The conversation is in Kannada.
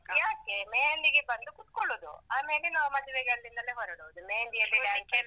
ಯಾಕೆ मेहंदी ಗೆ ಬಂದು ಕುತ್ಕೊಳ್ಳೋದು. ಆಮೇಲೆ ನಾವ್ ಮದ್ವೆಗೆ ಅಲ್ಲಿಂದಲೇ ಹೊರಡುದು. मेहंदी ಯಲ್ಲಿ dance ಎಲ್ಲ.